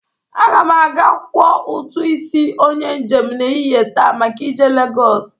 Aga m aga kwọ ụtụ isi onye njem n'ehihe taa maka ije Legọs.